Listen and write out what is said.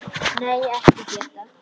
Nei, ekki Gedda.